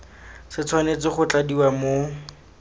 se tshwanetse go tladiwa mo